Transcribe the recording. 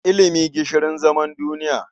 Ilimi gishirin zaman duniya.